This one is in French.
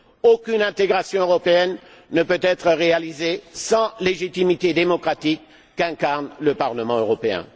Aucune intégration européenne ne peut être réalisée sans la légitimité démocratique qu'incarne le Parlement européen.